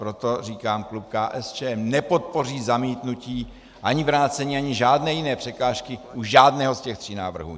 Proto říkám, klub KSČM nepodpoří zamítnutí, ani vrácení, ani žádné jiné překážky u žádného z těch tří návrhů.